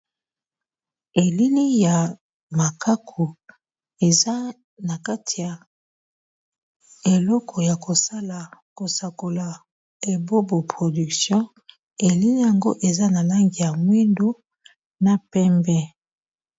Elili ya makaku eza na kati ya eloko ya kosala kosakola ebobo production, elili yango eza na langi ya mwindu na pembe.